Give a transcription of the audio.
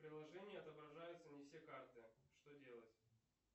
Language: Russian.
в приложении отображаются не все карты что делать